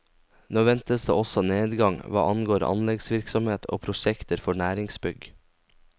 Nå ventes det også nedgang hva angår anleggsvirksomhet og prosjekter for næringsbygg.